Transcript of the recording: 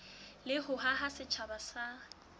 le ho haha setjhaba sa